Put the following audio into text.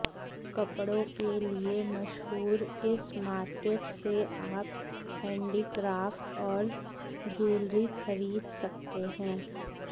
कपड़ों के लिए मशहूर इस मार्केट्स से आप हैंडीक्राफ्ट्स और जूलरी खरीद सकते हैं